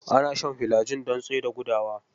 Ana shan filajil don tsaida gudawa.